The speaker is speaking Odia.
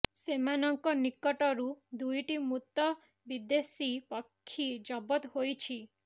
ସେମାନଙ୍କ ନିକଟରୁ ଦୁଇଟି ମୃତ ବିଦେଶୀ ପକ୍ଷୀ ଜବତ ହୋଇଛି